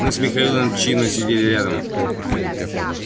мы с михаилом чинно сидели рядом